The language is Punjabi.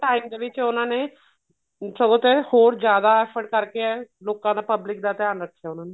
time ਦੇ ਵਿੱਚ ਉਹਨਾ ਨੇ ਸਗੋਂ ਤੇ ਹੋਰ ਜਿਆਦਾ effort ਕਰਕੇ ਲੋਕਾ ਦਾ public ਦਾ ਧਿਆਨ ਰੱਖਿਆ ਉਹਨਾ ਨੇ